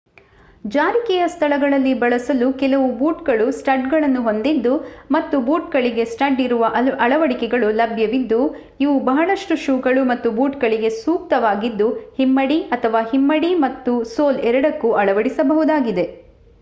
ಜಾರಿಕೆಯ ಸ್ಥಳಗಳಲ್ಲಿ ಬಳಸಲು ಕೆಲವು ಬೂಟುಗಳು ಸ್ಟಡ್ಗಳನ್ನು ಹೊಂದಿದ್ದು ಮತ್ತು ಬೂಟುಗಳಿಗೆ ಸ್ಟಡ್ ಇರುವ ಅಳವಡಿಕೆಗಳು ಲಭ್ಯವಿದ್ದು ಇವು ಬಹಳಷ್ಟು ಶೂಗಳು ಮತ್ತು ಬೂಟುಗಳಿಗೆ ಸೂಕ್ತವಾಗಿದ್ದು ಹಿಮ್ಮಡಿ ಅಥವಾ ಹಿಮ್ಮಡಿ ಮತ್ತು ಸೋಲ್ ಎರಡಕ್ಕೂ ಅಳವಡಿಸಬಹುದಾಗಿದೆ